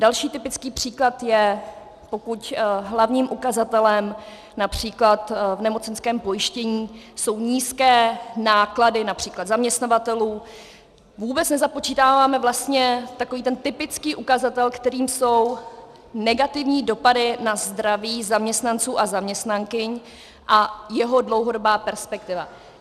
Další typický příklad je, pokud hlavním ukazatelem například v nemocenském pojištění jsou nízké náklady, například zaměstnavatelů, vůbec nezapočítáváme vlastně takový ten typický ukazatel, kterým jsou negativní dopady na zdraví zaměstnanců a zaměstnankyň a jeho dlouhodobá perspektiva.